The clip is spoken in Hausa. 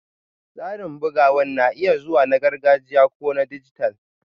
Tsarin bugawa na iya zama na gargajiya ko na dijital